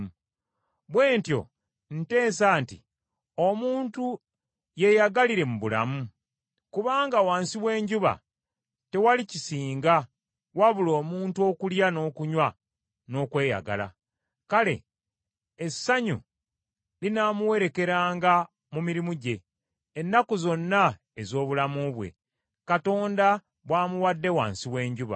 Bwe ntyo nteesa nti omuntu yeyagalire mu bulamu: kubanga wansi w’enjuba tewali kisinga, wabula omuntu okulya n’okunywa n’okweyagala. Kale essanyu linaamuwerekeranga mu mirimu gye, ennaku zonna ez’obulamu bwe Katonda bw’amuwadde wansi w’enjuba.